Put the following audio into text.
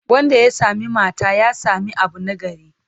Wanda ya sami mata, ya sami abu nagari.